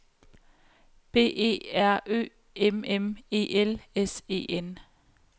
B E R Ø M M E L S E N